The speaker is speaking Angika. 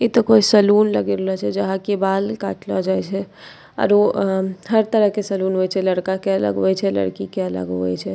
इ त कोई सैलून लग रहले छै जहाँ कि बाल काटला जाइ छै आरो हर तरह के सैलून होय छै लड़का के अलग होय छै लड़की के अलग होय छै।